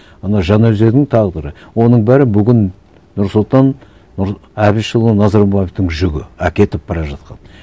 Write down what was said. ана жаңаөзеңнің тағдыры оның бәрі бүгін нұрсұлтан әбішұлы назарбаевтың жүгі әкетіп бара жатқан